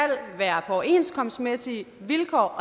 være overenskomstmæssige vilkår og